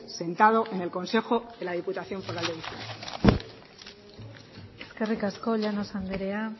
sentado en el consejo de la diputación foral de bizkaia eskerrik asko llanos anderea